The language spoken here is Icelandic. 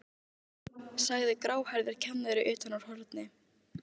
sagði gráhærður kennari utan úr horni.